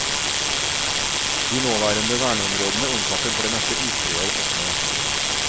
De nåværende verneområdene omfatter for det meste isbreer og snø.